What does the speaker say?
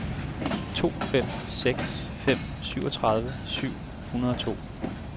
to fem seks fem syvogtredive syv hundrede og to